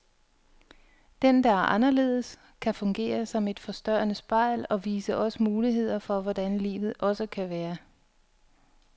Den, der er anderledes, kan fungere som et forstørrende spejl, og vise os muligheder for hvordan livet også kan være.